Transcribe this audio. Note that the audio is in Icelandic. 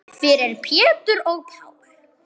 Þeir vissu hvað þeir sungu.